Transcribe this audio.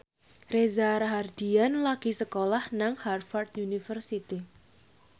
Reza Rahardian lagi sekolah nang Harvard university